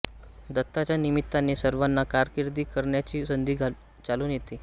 दत्ताच्या निमित्ताने सर्वांना कारकीर्द करण्याची संधी चालून येते